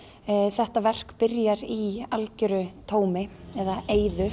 þetta verk byrjar í algjöru tómi eða eyðu